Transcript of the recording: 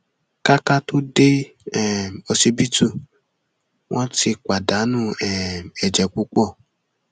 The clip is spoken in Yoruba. ká ká tóó dé um ọsibítù wọn ti pàdánù um ẹjẹ púpọ